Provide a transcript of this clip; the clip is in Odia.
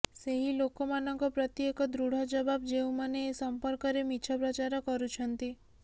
ସେହି ଲୋକମାନଙ୍କ ପ୍ରତି ଏକ ଦୃଢ଼ ଜବାବ ଯେଉଁମାନେ ଏ ସମ୍ପର୍କରେ ମିଛ ପ୍ରଚାର କରୁଛନ୍ତି